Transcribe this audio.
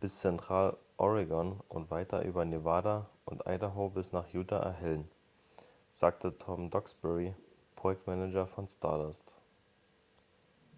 bis zentraloregon und weiter über nevada und idaho bis nach utah erhellen sagte tom duxbury projektmanager von stardust